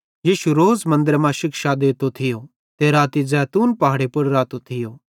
यीशु रोज़ मन्दरे मां शिक्षा देतो थियो ते राती ज़ैतून पहाड़े पुड़ रातो थियो